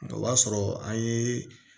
O b'a sɔrɔ an ye